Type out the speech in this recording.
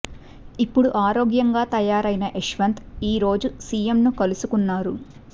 ఇపుడు ఆరోగ్యంగా తయారుయిన యశ్వంత్ ఈ రోజు సిఎం ను కలుసుకున్నారు